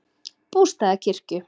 Bústaðakirkju